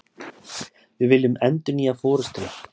Við viljum endurnýja forustuna